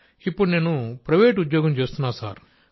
ఇప్పుడు నేను ప్రైవేట్ ఉద్యోగం చేస్తున్నాను సార్